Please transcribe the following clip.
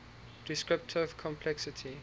descriptive complexity